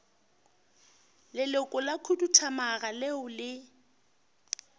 leloko la khuduthamaga leo le